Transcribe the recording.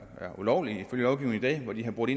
ulovligt hvor de har brudt